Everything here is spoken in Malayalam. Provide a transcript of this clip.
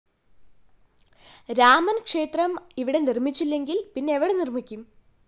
രാമന് ക്ഷേത്രം ഇവിടെ നിര്‍മ്മിച്ചില്ലെങ്കില്‍ പിന്നെവിടെ നിര്‍മ്മിക്കും